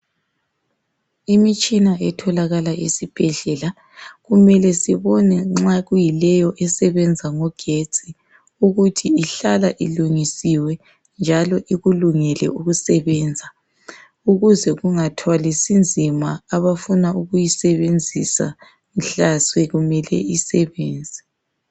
Imitshina etholakala esibhedlela. Kumele sibone nxa kuyileyo esebenza ngogetsi ukuthi ihlala ilungisiwe njalo ikulungele ukusebenza ukuze kungathwalisi nzima abafuna ukuyisebenzisa mhla sekumele isebenze.